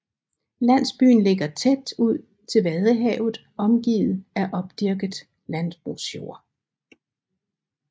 Landsbyen ligger tæt ud til Vadehavet omgivet af opdyrket landbrugsjord